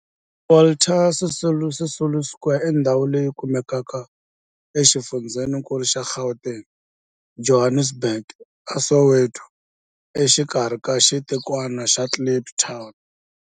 Walter Sisulu Square i ndhawu leyi kumekaka exifundzheni-nkulu xa Gauteng, Johannesburg, a Soweto, exikarhi ka xitikwana xa Kliptown.